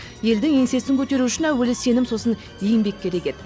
елдің еңсесін көтеру үшін әуелі сенім сосын еңбек керек еді